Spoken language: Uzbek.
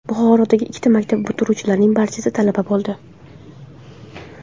Buxorodagi ikkita maktab bitiruvchilarining barchasi talaba bo‘ldi.